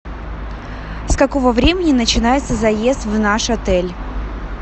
с какого времени начинается заезд в наш отель